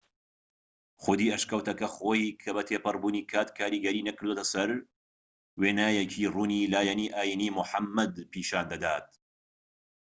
خودی ئەشکەوتەکە خۆی کە تێپەڕبوونی کات کاریگەری نەکردۆتە سەر وێنایەکی ڕوونی لایەنی ئاینیی موحەممەد پیشان دەدات